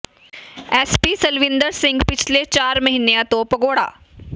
S P Salwinder Singh ਪਿਛਲੇ ਚਾਰ ਮਹੀਨਿਆਂ ਤੋਂ ਭਗੌੜਾ